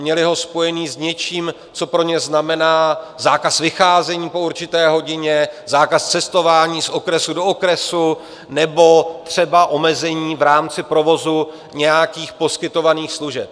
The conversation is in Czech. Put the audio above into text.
Měli ho spojený s něčím, co pro ně znamená zákaz vycházení po určité hodině, zákaz cestování z okresu do okresu nebo třeba omezení v rámci provozu nějakých poskytovaných služeb.